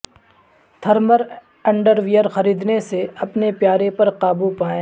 thermal underwear خریدنے سے اپنے پیارے پر قابو پائیں